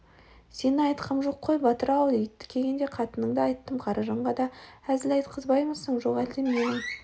сені айтқам жоқ қой батыр-ау ит дегенде қатынынды айттым қаражанға да әзіл айтқызбаймысың жоқ әлде менің